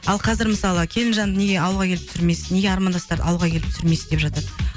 ал қазір мысалы келінжанды неге ауылға келіп түсірмейсіз неге армандастарды ауылға келіп түсірмейсіз деп жатады